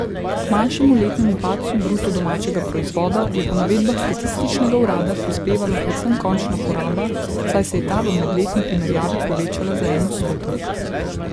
K manjšemu letnemu padcu bruto domačega proizvoda je po navedbah statističnega urada prispevala predvsem končna poraba, saj se je ta v medletni primerjavi povečala za en odstotek.